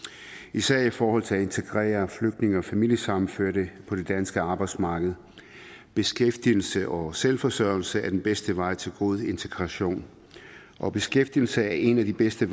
især i forhold til at integrere flygtninge og familiesammenførte på det danske arbejdsmarked beskæftigelse og selvforsørgelse er den bedste vej til god integration og beskæftigelse er en af de bedste